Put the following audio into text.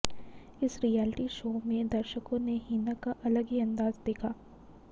इस reality show में दर्शकों ने हिना का अलग ही अंदाज़ देखा